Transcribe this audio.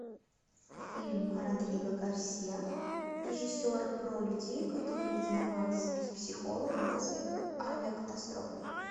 фильм родриго гарсия режиссера про людей которые занимались с психологом после авиакатастрофы